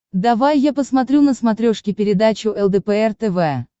давай я посмотрю на смотрешке передачу лдпр тв